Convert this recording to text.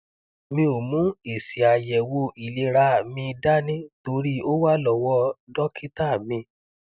mi ò mú èsìàyẹwòìlera mi dání torí ó wà lọwọ dọkítà mi